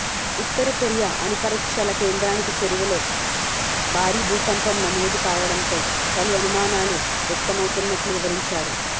ఉత్తర Korea అణుపరీక్షల కేంద్రానికి చేరువలో భారీ భూకంపం నమోదుకావడంతో పలుఅనుమానాలు వ్యక్తమవుతున్నట్లు వివరించారు